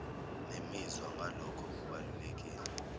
nemizwa ngalokho okubalulekile